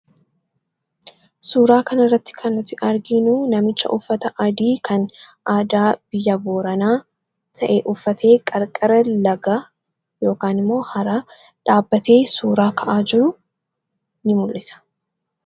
Suuraa kanirratti kannuti argiinuu namicha uffata adii kan aadaa biyya booranaa ta'e uffatee qarqara lagaa yookaan immoo dhaabbatee suuraa ka'aa jiru in mul'isa.